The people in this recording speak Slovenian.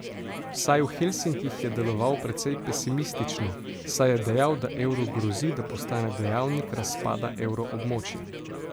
Vsaj v Helsinkih je deloval precej pesimistično, saj je dejal, da evru grozi, da postane dejavnik razpada evroobmočja.